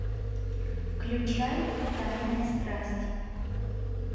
включай тайная страсть